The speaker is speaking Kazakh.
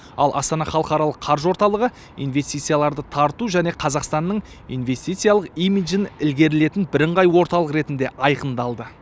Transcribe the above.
ал астана халықаралық қаржы орталығы инвестицияларды тарту және қазақстанның инвестициялық имиджін ілгерілетін бірыңғай орталық ретінде айқындалды